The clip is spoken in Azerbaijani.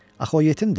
Axı o yetimdir?